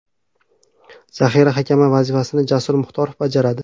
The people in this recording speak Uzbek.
Zaxira hakami vazifasini Jasur Muxtorov bajaradi.